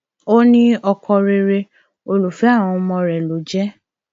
ó ní ọkọ rere olùfẹ àwọn ọmọ rẹ ló jẹ